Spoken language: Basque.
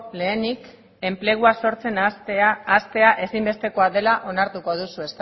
lehenik enplegua sortzen hastea ezinbestekoa dela onartuko duzu